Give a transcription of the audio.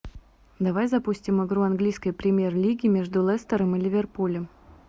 давай запустим игру английской премьер лиги между лестером и ливерпулем